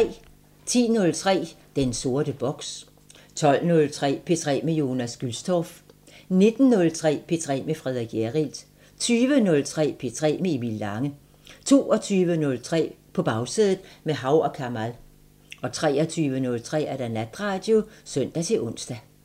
10:03: Den sorte boks 12:03: P3 med Jonas Gülstorff 19:03: P3 med Frederik Hjerrild 20:03: P3 med Emil Lange 22:03: På Bagsædet – med Hav & Kamal 23:03: Natradio (søn-ons)